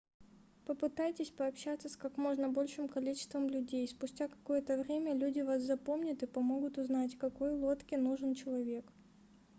попытайтесь пообщаться с как можно большим количеством людей спустя какое-то время люди вас запомнят и помогут узнать какой лодке нужен человек